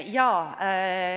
Jaa.